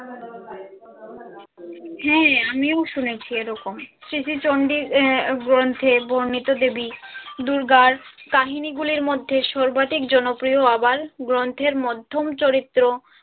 হ্যাঁ আমিও শুনেছি এরকম শ্রী শ্রী চন্ডীর আহ গ্রন্থে বর্ণিত দেবী দুর্গার কাহিনীগুলির মধ্যে সর্বাধিক জনপ্রিয় আবাল গ্রন্থের মধ্যম চরিত্র